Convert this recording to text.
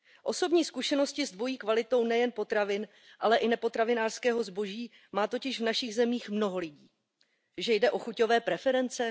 Osobní zkušenosti s dvojí kvalitou nejen potravin, ale i nepotravinářského zboží má totiž v našich zemích mnoho lidí. Že jde o chuťové preference?